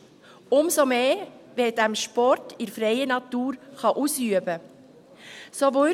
Umso mehr, wenn man diesen Sport in freier Natur ausüben kann.